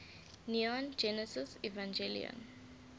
neon genesis evangelion